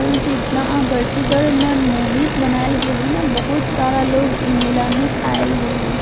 फूल से इतना आकर्षित और मनमोहित बनायल गेल हेय ना बहुत सारा लोग इ मेला में आयल भी हेय।